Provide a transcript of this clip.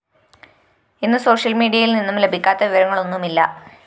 ഇന്ന് സോഷ്യല്‍മീഡിയയില്‍നിന്നും ലഭിക്കാത്ത വിവരങ്ങളൊന്നുമില്ല